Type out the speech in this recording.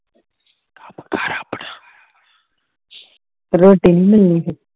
ਰੋਟੀ ਨੀ ਮਿਲਣੀ ਫੇਰ